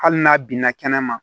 Hali n'a binna kɛnɛma